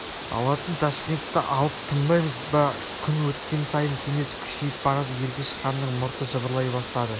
алатын ташкентті алып тынбаймыз ба күн өткен сайын кеңес күшейіп барады ергеш ханның мұрты жыбырлай бастады